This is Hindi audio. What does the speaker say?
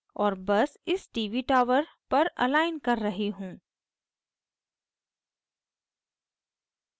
और बस इस tv tower पर अलाइन कर रही हूँ